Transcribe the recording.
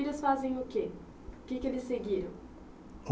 azem o quê? O que que eles seguiram?